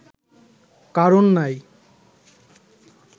কারণ নাই